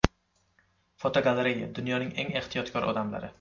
Fotogalereya: Dunyoning eng ehtiyotkor odamlari.